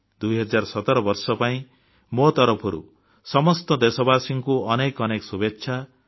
2017 ବର୍ଷ ପାଇଁ ମୋ ତରଫରୁ ସମସ୍ତ ଦେଶବାସୀଙ୍କୁ ଅନେକ ଅନେକ ଶୁଭେଚ୍ଛା